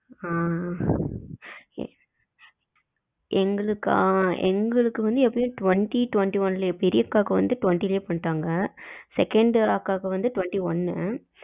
அஹ் எங்களுக்கா எங்களுக்கு வந்து எப்பையும் twenty twenty one பெரிய அக்காவுக்கு twenty லேயே பண்ணிட்டாங்க, second அக்காவுக்கு வந்து twenty one னு